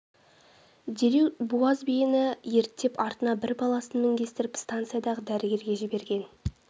дереу буаз биені ерттеп артына бір баласын мінгестіріп станциядағы дәрігерге жіберген